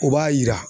O b'a yira